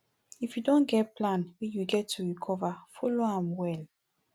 if you don get plan wey you get to recover follow am well